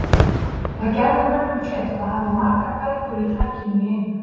Það gerði mönnum kleift hafa margar bækur í takinu í einu.